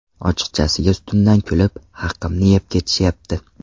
Ochiqchasiga ustimdan kulib, haqimni yeb ketishyapti.